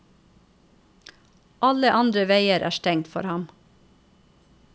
Alle andre veier er stengt for ham.